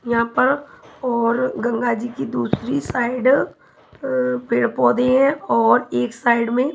यहाँ पर और गंगा जी की दूसरी साइड पेड़-पौधे हैंऔर एक साइड में--